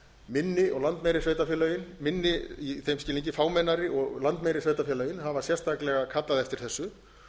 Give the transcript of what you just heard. minni og landmeiri sveitarfélögin minni í þeim skilningi fámennari og landmeiri sveitarfélögin hafa sérstaklega kallað eftir þessu